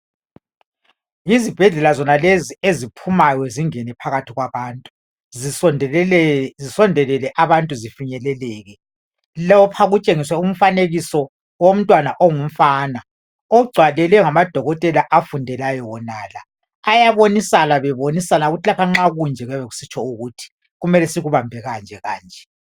Yizibhedlela zonalezi eziphumayo zingene phakathi kwabantu zisondelele abantu zifinyeleleke lapha kutshengiswe umfanekiso womntwana ongumfana ogcwalelwe ngamadokotela afundelayo wonala ayabonisana bebonisana ukuthi lapha nxa kunje kuyabe kusitsho ukuthi kumele sikubambe kanje kanje